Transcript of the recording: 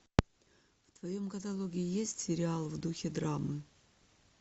в твоем каталоге есть сериал в духе драмы